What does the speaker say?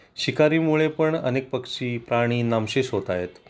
शिकारी मुळे पण अनेक पक्षी प्राणी नामशेष होत आहेत